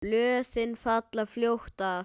Blöðin falla fljótt af.